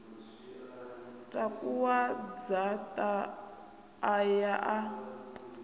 takuwa dzaṱa a ya a